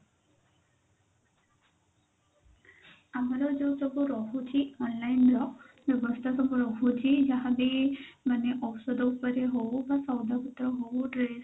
ଆମର ଯଉ ସବୁ ରହୁଛି online ର ବ୍ୟବସ୍ଥା ସବୁ ରହୁଛି ଯାହା ବି ଔଷଧ ଉପରେ ହଉ ବା ହଉ dress